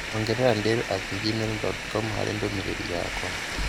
ongerera dale at gmail dot com harĩ ndũmĩrĩri yakwa